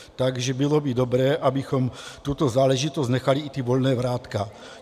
Takže bylo by dobré, abychom tuto záležitost nechali i ta volná vrátka.